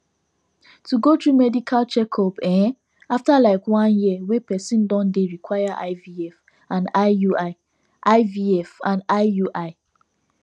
to go through medical checkup ehnnafter like one year wey person don dey require ivf and iui ivf and iui